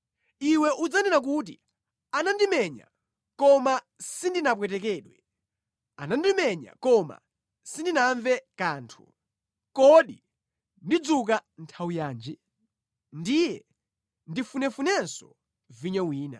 Iwe udzanena kuti, “Anandimenya, koma sindinapwetekedwe! Andimenya koma sindinamve kanthu! Kodi ndidzuka nthawi yanji? Ndiye ndifunefunenso vinyo wina.”